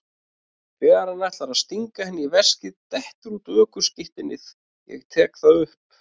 Þegar hann ætlar að stinga henni í veskið dettur út ökuskírteinið, ég tek það upp.